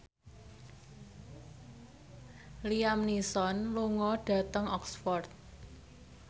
Liam Neeson lunga dhateng Oxford